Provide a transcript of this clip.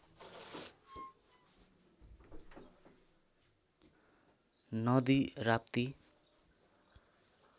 नदी राप्ती